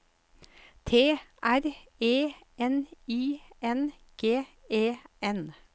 T R E N I N G E N